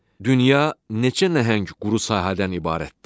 Dünya neçə nəhəng quru sahədən ibarətdir?